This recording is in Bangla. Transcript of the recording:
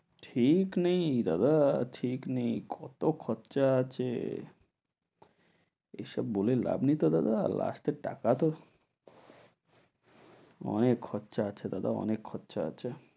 ঠিক নেই দাদা, ঠিক নেই, কত খরচা আছে। এসব বলে লাভ নেই তো দাদা last এ টাকা তো, অনেক খরচা আছে দাদা, অনেক খরচা আছে।